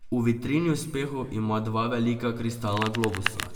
V vitrini uspehov ima dva velika kristalna globusa.